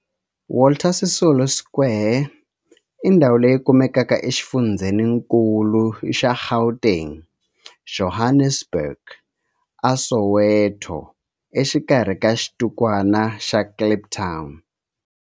Walter Sisulu Square i ndhawu leyi kumekaka exifundzheninkulu xa Gauteng, Johannesburg, a Soweto, exikarhi ka xitikwana xa Kliptown.